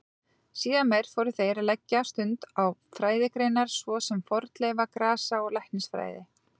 Síðar meir fóru þeir að leggja stund á fræðigreinar svo sem fornleifa-, grasa- og læknisfræði.